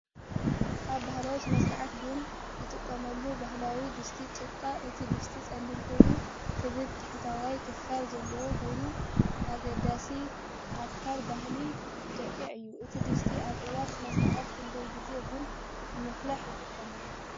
ኣብ ባህላዊ ስነ-ስርዓት ቡን ዝጥቀሙሉ ባህላዊ ድስቲ ጭቃ። እቲ ድስቲ ጸሊም ኮይኑ ክቡብ ታሕተዋይ ክፋል ዘለዎ ኮይኑ፡ ኣገዳሲ ኣካል ባህሊ ኢትዮጵያ እዩ። እቲ ድስቲ ኣብ እዋን ስነ-ስርዓት ክንደይ ግዜ ቡን ንምፍላሕ ይጥቀመሉ?